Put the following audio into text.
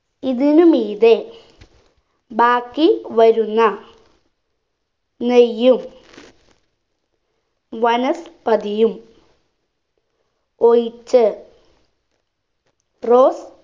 ഇതിനു മീതെ ബാക്കി വരുന്ന നെയ്യും വനസ്പതിയും ഒഴിച്ച് rose